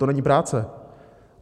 To není práce?